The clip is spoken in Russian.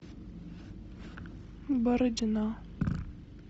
бородино